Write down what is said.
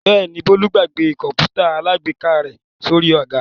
Bẹ́ẹ̀ ni, Bólú gbàgbé kọ̀ǹpútà alágbèéká rẹ̀ sórí àga.